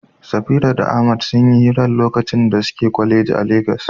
Safira da Ahmad sun yi hirar lokacin da suke kwaleji a Legas.